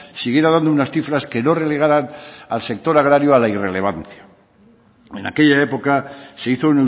siguiera dando unas cifras que no relegaran al sector agrario a la irrelevancia en aquella época se hizo